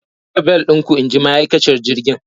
Ku saka bel ɗinku inji ma'akaciyar jirgin!